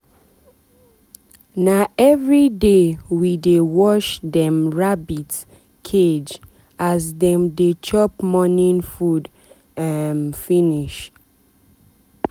na everyday we dey wash dem rabbit rabbit cage as dem dey chop morning food um finish.